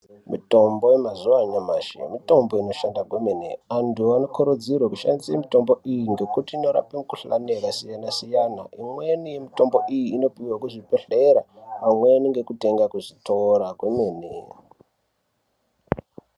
Mitombo yemazuwa anyamashi , mitombo inoshanda kwemene antu anokurudzirwa kushandisa mitombo iyi ngekuti inorapa mukhuhlani yakasiyana siyana imweni mitombo iyi inopiwa kuzvibhehlera amweni ngekutenga kuzvitora kwemene.